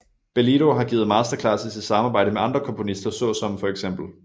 Bellido har givet masterclasses i samarbejde med andre komponister såsom feks